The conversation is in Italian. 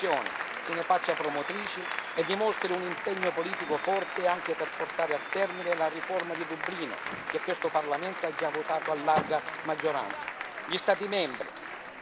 Bene, la nuova Commissione se ne faccia promotrice e dimostri un impegno politico forte anche per portare a termine la riforma di Dublino che questo Parlamento ha già votato a larga maggioranza.